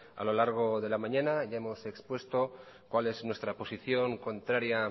a lo largo de la mañana ya hemos expuesto cuál es nuestra posición contraria